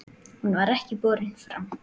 Hún var ekki borin fram.